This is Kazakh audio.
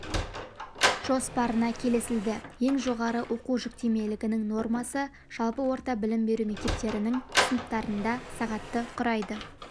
жоспарына келісілді ең жоғары оқу жүктемелігінің нормасы жалпы орта білім беру мектептерінің сыныптарында сағатты құрайды